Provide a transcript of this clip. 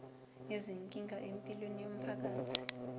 izinkinga empilweni yomphakathi